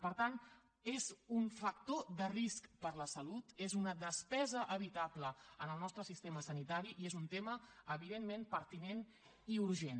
per tant és un factor de risc per a la salut és una despesa evitable en el nostre sistema sanitari i és un tema evidentment pertinent i urgent